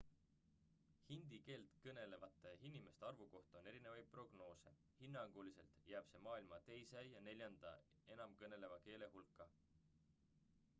hindi keelt kõnelevate inimeste arvu kohta on erinevaid prognoose hinnanguliselt jääb see maailma teise ja neljanda enamkõneldava keele hulka